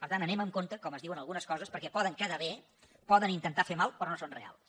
per tant anem amb compte com es diuen algunes coses perquè poden quedar bé poden intentar fer mal però no són reals